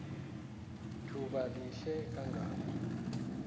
thuba lihle kangako